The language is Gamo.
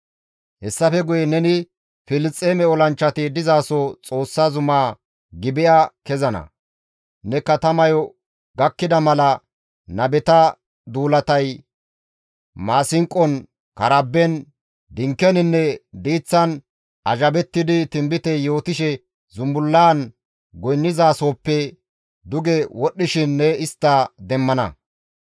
«Hessafe guye neni Filisxeeme olanchchati dizaso Xoossa zumaa Gibi7a kezana; ne katamayo gakkida mala nabeta duulatay, maasinqon, karaben, dinkeninne diiththan azhabettidi tinbite yootishe zumbullaan goynnizasoppe duge wodhdhishin ne istta demmana.